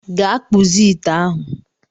Gaa kpụzie ite ahụ